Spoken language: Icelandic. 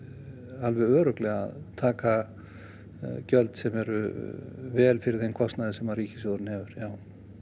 alveg örugglega að taka gjöld sem eru vel fyrir þeim kostnaði sem ríkissjóður hefur já